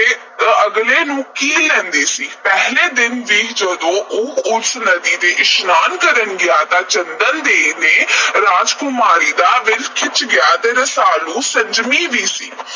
ਅਗਲੇ ਨੂੰ ਕੀਲ ਲੈਂਦੀ ਸੀ। ਪਹਿਲੇ ਦਿਨ ਹੀ ਜਦੋਂ ਉਹ ਇਕ ਨਦੀ ਵਿਚ ਇਸ਼ਨਾਨ ਕਰਨ ਗਿਆ ਤਾਂ ਚੰਦਨ ਦੇਈ ਨਾਂ ਦੀ ਰਾਜਕੁਮਾਰੀ ਦਾ ਦਿਲ ਖਿੱਚ ਗਿਆ। ਰਸਾਲੂ ਸੰਜਮੀ ਵੀ ਸੀ,